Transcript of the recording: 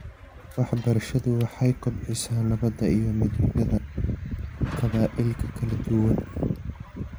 Waxbarashadu waxay kobcisaa nabadda iyo midnimada qabaa'ilka kala duwan .